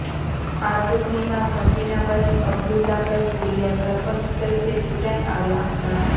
આ ચૂંટણીમાં શકીનાબહેન અબ્દુલ્લાભાઈ ભુલિયા સરપંચ તરીકે ચૂંટાઈ આવ્યાં હતાં